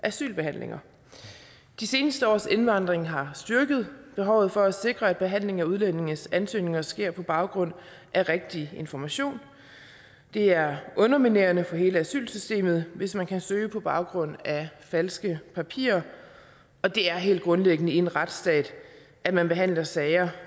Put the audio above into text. asylbehandlinger de seneste års indvandring har styrket behovet for at sikre at behandlingen af udlændinges ansøgninger sker på baggrund af rigtige informationer det er underminerende for hele asylsystemet hvis man kan søge på baggrund af falske papirer og det er helt grundlæggende i en retsstat at man behandler sager